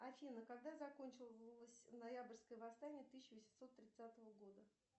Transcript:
афина когда закончилось ноябрьское восстание тысяча восемьсот тридцатого года